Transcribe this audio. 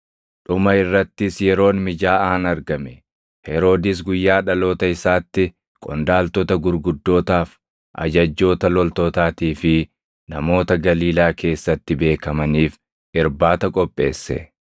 Dhuma irrattis yeroon mijaaʼaan argame. Heroodis guyyaa dhaloota isaatti qondaaltota gurguddootaaf, ajajjoota loltootaatii fi namoota Galiilaa keessatti beekamaniif irbaata qopheesse.